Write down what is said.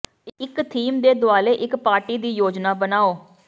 ਇੱਕ ਥੀਮ ਦੇ ਦੁਆਲੇ ਇੱਕ ਪਾਰਟੀ ਦੀ ਯੋਜਨਾ ਬਣਾਓ